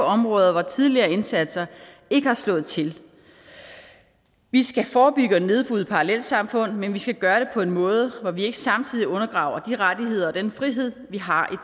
områder hvor tidligere indsatser ikke har slået til vi skal forebygge og nedbryde parallelsamfund og vi skal gøre det på en måde hvor vi ikke samtidig undergraver de rettigheder og den frihed vi har